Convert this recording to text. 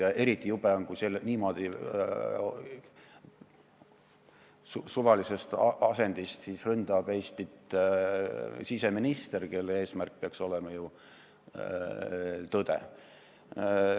Ja eriti jube on, kui niimoodi suvalisest asendist ründab Eestit siseminister, kelle eesmärk peaks olema ju tõde.